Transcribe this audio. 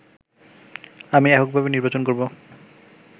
আমি এককভাবে নির্বাচন করবো